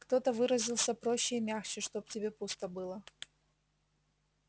кто-то выразился проще и мягче чтоб тебе пусто было